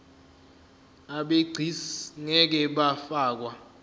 abegcis ngeke bafakwa